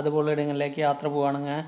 അതുപോലെടങ്ങളിലേക്ക് യാത്ര പോവാണാങ്ങേ